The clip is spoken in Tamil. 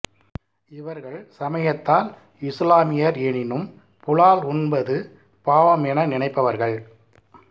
இவர்கள் சமயத்தால் இசுலாமியர் எனினும் புலால் உண்பது பாவம் என நினைப்பவர்கள்